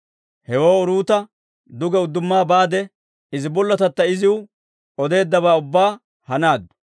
Hewoo Uruuta duge udduma baade, izi bollotatta iziw odeeddabaa ubbaa hanaaddu.